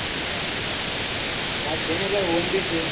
હા છે ને ભાઈ oven ભી છે